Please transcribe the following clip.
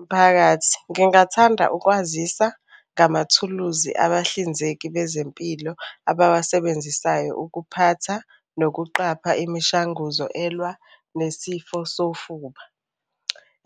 Mphakathi, ngingathanda ukwazisa ngamathuluzi abahlinzeki bezempilo abawasebenzisayo ukuphatha nokuqapha imishanguzo elwa nesifo sofuba,